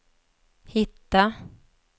hitta